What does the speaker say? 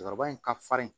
Cɛkɔrɔba in ka farin